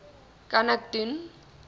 kan ek doen